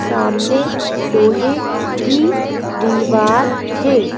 सामने लोहे की दीवार है।